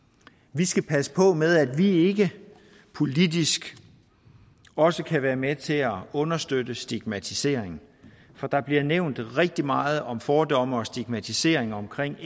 vi skal passe på med at vi ikke politisk også kan være med til at understøtte stigmatisering for der bliver nævnt rigtig meget om fordomme og stigmatisering omkring